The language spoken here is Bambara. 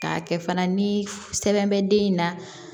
K'a kɛ fana ni sɛbɛn bɛ den in na